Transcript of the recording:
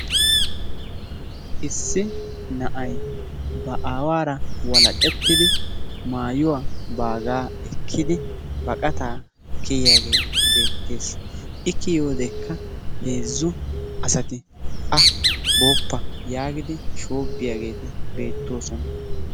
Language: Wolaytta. Issi na'ay ba awaara walaqettidi maayuwa baagaa ekkidi baqataa kiyiyaage beetees, i kiyodekka heezzu asati booppa yaagidi shoobiyageti beetoosona.